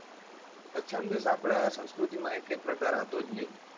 અછન્દસ ની આપણા સંસ્કૃતિ માં એકે પ્રકાર હતો જ નઈ,